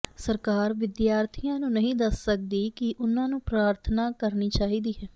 ਸਰਕਾਰ ਵਿਦਿਆਰਥੀਆਂ ਨੂੰ ਨਹੀਂ ਦੱਸ ਸਕਦੀ ਕਿ ਉਨ੍ਹਾਂ ਨੂੰ ਪ੍ਰਾਰਥਨਾ ਕਰਨੀ ਚਾਹੀਦੀ ਹੈ